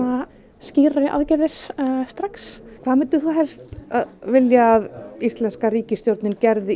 skýrari aðgerðir strax hvað myndir þú helst vilja að íslenska ríkisstjórnin gerði í